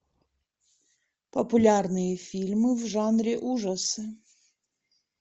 популярные фильмы в жанре ужасы